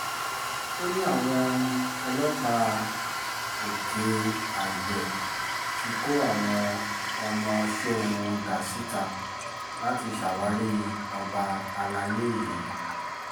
ó ní àwọn ọlọ́pàá òkè-àgbẹ̀ ti kó àwọn ọmọọṣẹ́ wọn dà síta láti ṣàwárí ọba àlàyé yìí